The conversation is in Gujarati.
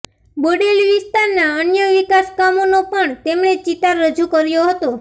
બોડેલી વિસ્તારના અન્ય વિકાસ કામોનો પણ તેમણે ચિતાર રજૂ કર્યો હતો